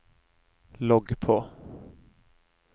logg på